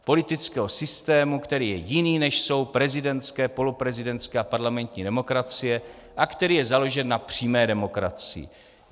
Politického systému, který je jiný, než jsou prezidentské, poloprezidentské a parlamentní demokracie, a který je založen na přímé demokracii.